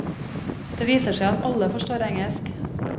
Det viser seg at alle forstår engelsk.